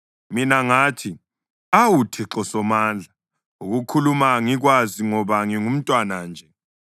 Mina ngathi, “Awu Thixo Somandla; ukukhuluma angikwazi, ngoba ngingumntwana nje.”